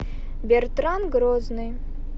бертран грозный